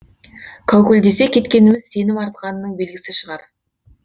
кәукілдесе кеткеніміз сенім артқанының белгісі шығар